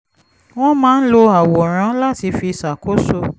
wọ́n máa ń lo àwòrán láti fi ṣàkóso